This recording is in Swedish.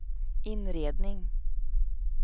inredning